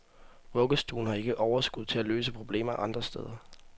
Vuggestuen har ikke overskud til at løse problemer andre steder.